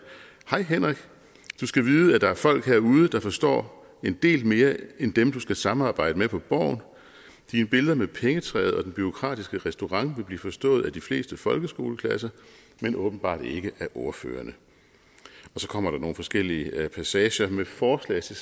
hej henrik du skal vide at der er folk herude der forstår en del mere end dem du skal samarbejde med på borgen dine billeder med pengetræet og den bureaukratiske restaurant vil blive forstået af de fleste folkeskoleklasser men åbenbart ikke af ordførerne så kommer der nogle forskellige passager med forslag til